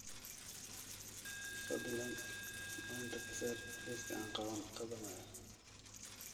fadlan maanta ka saar liiska aan qabanayo